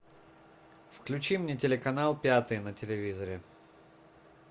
включи мне телеканал пятый на телевизоре